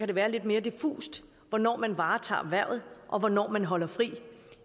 det være lidt mere diffust hvornår man varetager hvervet og hvornår man holder fri